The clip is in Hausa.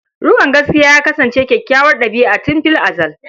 Riƙon gaskiya ya kasance kyakkyawar ɗabi'a tun fil azal.